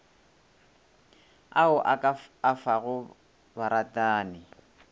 ao o ka afago baratani